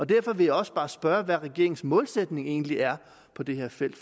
derfor vil jeg også bare spørge hvad regeringens målsætning egentlig er på det her felt